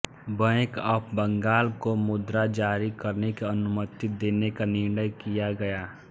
bank of Bengal को मुद्रा जारी करने की अनुमति देने का निर्णय किया गया